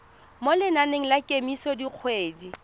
mo lenaneng la kemiso dikgwedi